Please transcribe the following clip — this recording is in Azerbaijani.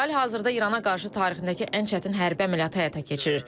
İsrail hazırda İrana qarşı tarixindəki ən çətin hərbi əməliyyatı həyata keçirir.